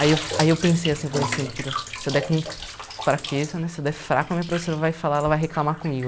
Aí eu aí eu pensei assim, falei assim, puta, se eu der com fraqueza né, se eu der fraco, a minha professora vai falar, ela vai reclamar comigo.